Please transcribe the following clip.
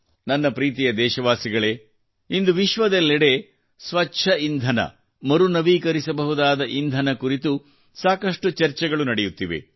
ನನ್ನ ಪ್ರೀತಿಯ ದೇಶವಾಸಿಗಳೇ ಇಂದು ವಿಶ್ವದೆಲ್ಲಡೆ ಸ್ವಚ್ಛ ಇಂಧನ ಮರುನವೀಕರಿಸಬಹುದಾದ ಇಂಧನ ಕುರಿತು ಸಾಕಷ್ಟು ಚರ್ಚೆಗಳು ನಡೆಯುತ್ತಿವೆ